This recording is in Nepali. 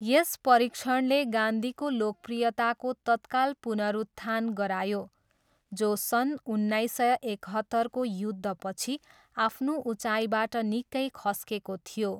यस परीक्षणले गान्धीको लोकप्रियताको तत्काल पुनरुत्थान गरायो, जो सन् उन्नाइस सय एकहत्तरको युद्धपछि आफ्नो उचाइबाट निकै खस्केको थियो।